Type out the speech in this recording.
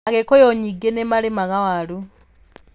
Agĩkũyũ nyingĩ nĩ marĩmaga waru.